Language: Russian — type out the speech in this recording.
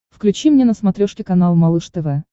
включи мне на смотрешке канал малыш тв